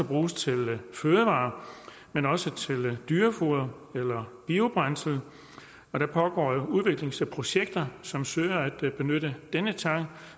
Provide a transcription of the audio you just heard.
bruges til fødevarer men også til dyrefoder eller biobrændsel og der pågår jo udviklingsprojekter som søger at benytte denne tang